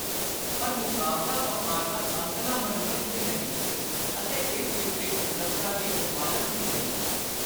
ਪਰ ਮੁਕਾਬਲਾ ਵਾਪਾਰ ਦਾ ਅੰਤਲਾ ਮਨੋਰਥ ਵੀ ਨਹੀਂ ਅਤੇ ਇਸ ਵਿਚਲੀ ਸੁੰਦਰਤਾ ਦੀ ਜ਼ਮਾਨਤ ਵੀ ਨਹੀਂ।